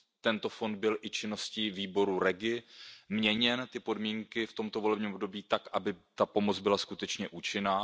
Tento fond byl i činností výboru REGI měněn, podmínky nastaveny v tomto volebním období tak, aby ta pomoc byla skutečně účinná.